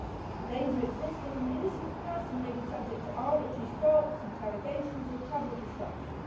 The danger exists that an innocent person may be subject to arbitrary stops, interrogations or travel disruption.